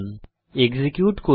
execute করি